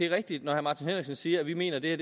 rigtigt når herre martin henriksen siger at vi mener at det